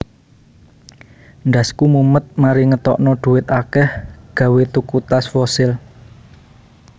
Ndasku mumet mari ngetokno duit akeh gawe tuku tas Fossil